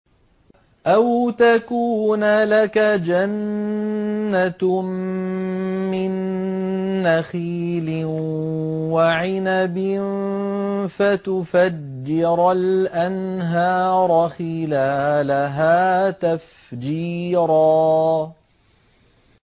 أَوْ تَكُونَ لَكَ جَنَّةٌ مِّن نَّخِيلٍ وَعِنَبٍ فَتُفَجِّرَ الْأَنْهَارَ خِلَالَهَا تَفْجِيرًا